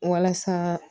Walasa